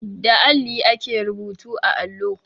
Da alli ake rubutu a allo.